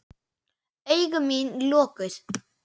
Augu mín lokuð.